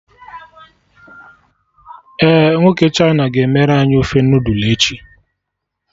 Ee, nwoke China ga-emere anyị ofe noodul echi